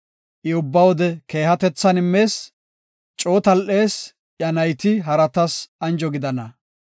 I ubba wode keehatethan immees; coo tal7ees; iya nayti haratas anjo gidana.